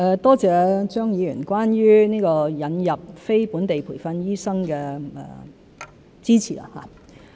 多謝張議員對於引入非本地培訓醫生的支持。